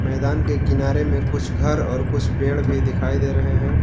मैदान के किनारे में कुछ घर और कुछ पेड़ भी दिखाई दे रहे हैं।